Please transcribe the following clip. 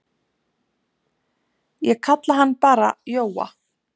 Ég kalla hann bara Jóa.